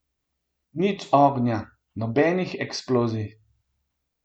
Nič ognja, nobenih eksplozij.